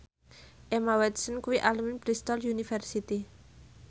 Emma Watson kuwi alumni Bristol university